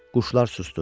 Quşlar susdu.